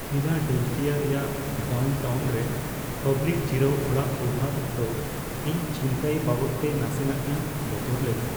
Philadelphia ᱨᱮᱭᱟᱜ downtown ᱨᱮ public ᱡᱤᱨᱟᱹᱣ ᱚᱲᱟᱜ ᱵᱮᱣᱦᱟᱨ ᱚᱠᱛᱚ ᱤᱧ ᱪᱷᱤᱱᱛᱟᱹᱭ ᱵᱟᱵᱚᱫᱛᱮ ᱱᱟᱥᱮᱱᱟᱜᱼᱤᱧ ᱵᱚᱛᱚᱨ ᱞᱮᱱᱟ ᱾